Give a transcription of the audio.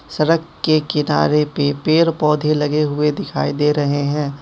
सरक के किनारे पे पेर पौधे लगे हुए दिखाई दे रहे हैं।